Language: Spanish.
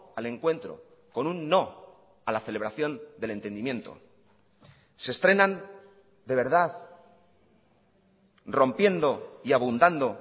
al encuentro con un no a la celebración del entendimiento se estrenan de verdad rompiendo y abundando